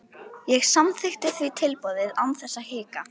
Ég samþykkti því tilboðið án þess að hika.